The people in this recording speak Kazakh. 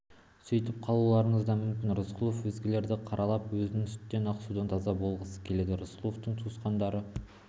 сөйтіп қалуларыңыз да мүмкін рысқұлов өзгелерді қаралап өзі сүттен ақ судан таза болғысы келеді рысқұловтың туысқандары